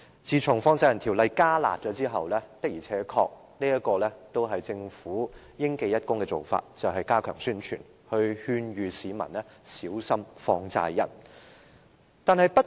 自從《放債人條例》"加辣"後，政府的做法確實應記一功，便是加強宣傳，勸諭市民小心放債人。